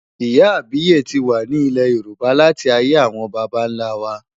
Ìyá àbíyè ti wà ní ilẹ̀ Yorùbá láti ayé àwọn baba ńlá wa.